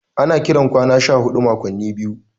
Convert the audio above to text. Ana kiran kwana 14 makwanni biyu.